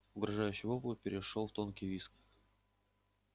угрожающий вопль перешёл в тонкий визг